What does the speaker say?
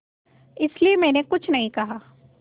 इसलिए मैंने कुछ नहीं कहा